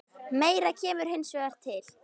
Meira kemur hins vegar til.